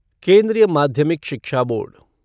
केंद्रीय माध्यमिक शिक्षा बोर्ड